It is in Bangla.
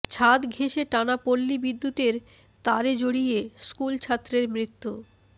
ছাদ ঘেঁষে টানা পল্লী বিদ্যুতের তারে জড়িয়ে স্কুলছাত্রের মৃত্যু